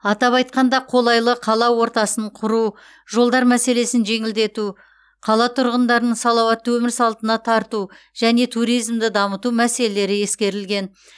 атап айтқанда қолайлы қала ортасын құру жолдар мәселелерін жеңілдету қала тұрғындарын салауатты өмір салтына тарту және туризмді дамыту мәселелері ескерілген